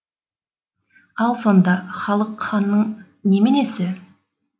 ал сонда халық ханның неменесі